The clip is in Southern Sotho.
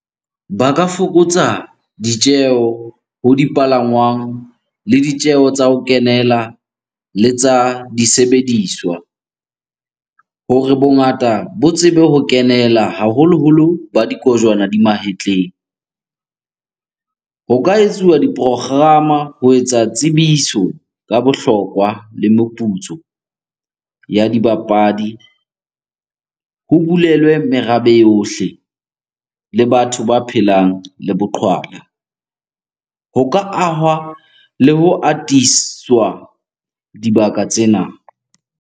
Ba ka fokotsa ditjeho ho dipalangwang le ditjeho tsa ho kenela le tsa disebediswa hore bongata bo tsebe ho kenela haholoholo ba dikojwana di mahetleng. Ho ka etsuwa di-program-a ho etsa tsebiso ka bohlokwa le meputso ya dibapadi. Ho bulelwe merabe yohle le batho ba phelang le boqhwala. Ho ka ahwa le ho atiswa dibaka tsena.